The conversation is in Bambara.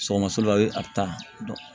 Sɔgɔmaso la ye a bɛ taa